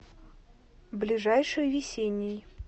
ближайший весенний